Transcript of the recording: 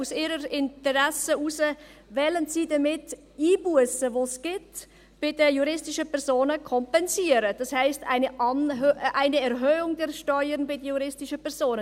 Aus ihrem Interesse heraus wollen sie Einbussen, welche es bei den juristischen Personen gibt, kompensieren, das heisst über eine Erhöhung der Steuern bei den juristischen Personen.